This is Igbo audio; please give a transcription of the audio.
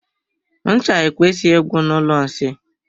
Ncha ekwesighi igwu na ụlọ nsị.